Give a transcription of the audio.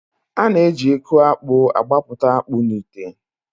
A na- eji eku akpụ agbapụta akpụ n'ite.